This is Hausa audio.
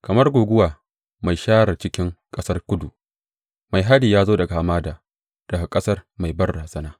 Kamar guguwa mai share cikin ƙasar kudu, mai hari ya zo daga hamada, daga ƙasar mai banrazana.